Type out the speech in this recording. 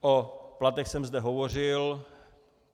O platech jsem zde hovořil.